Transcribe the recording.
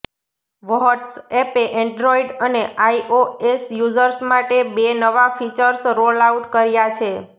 what's એપે Android અને iOS users માટે બે નવા ફિચર્સ રોલઆઉટ કર્યા છે